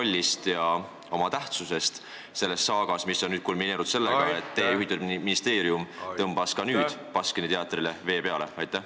Milline oli teie roll ja tähtsus selles saagas, mis on nüüd kulmineerunud sellega, et teie juhitav ministeerium tõmbas nüüd ka Baskini teatrile vee peale?